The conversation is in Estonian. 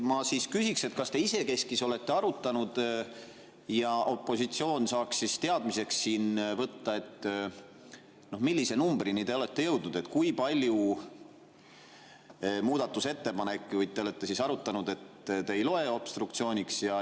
" Ma küsiksin, et kas te isekeskis olete arutanud ja opositsioon saaks teadmiseks võtta, millise numbrini te olete jõudnud, kui palju muudatusettepanekuid, et te ei loe seda obstruktsiooniks.